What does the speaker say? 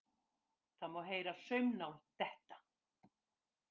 Það má heyra saumnál detta.